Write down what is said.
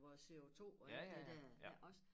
Vores CO2 og alt det der det også